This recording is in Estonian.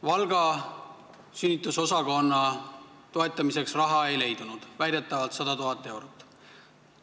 Valga sünnitusosakonna toetamiseks raha ei leidunud, väidetavalt olnuks vaja 100 000 eurot.